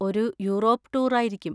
ഒരു Europe tour ആയിരിക്കും.